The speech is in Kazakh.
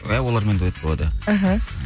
иә олармен дуэт болады иә іхі